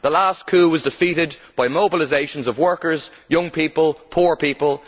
The last coup was defeated by mobilisations of workers, young people and poor people.